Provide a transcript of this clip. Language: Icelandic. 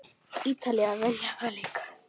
Ítalir vilja þetta líka.